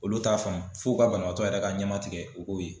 Olu t'a faamu fo u ka banabaatɔ yɛrɛ ka ɲɛmatigɛ o k'o ye.